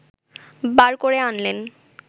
বার করে আনলেন!